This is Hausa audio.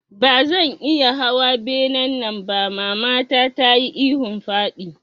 Bazan iya hawa benen nan ba mamata tayi ihun faɗi